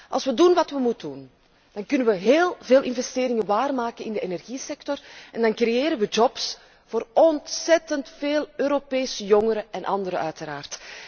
Als wij doen wat wij moeten doen kunnen wij heel veel investeringen waarmaken in de energiesector en dan creëren wij jobs voor ontzettend veel Europese jongeren en anderen uiteraard.